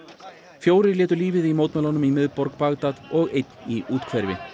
fjórir létu lífið í mótmælunum í miðborg Baghdad og einn í úthverfunum